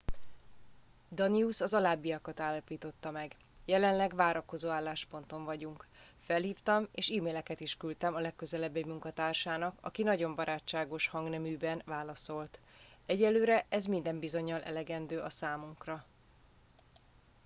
danius az alábbiakat állapította meg jelenleg várakozó állásponton vagyunk felhívtam és e maileket is küldtem a legközelebbi munkatársának aki nagyon barátságos hangneműben válaszolt egyelőre ez minden bizonnyal elegendő a számunkra